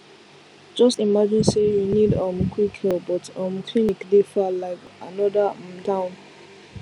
just imagine say you need um quick help but um clinic dey far like another um town